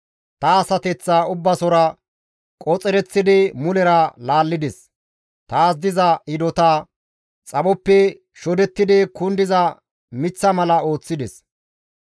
Ta asateththa Ubbasora qoxereththidi mulera laallides; taas diza hidota xaphoppe shodettidi kundiza miththa mala ooththides.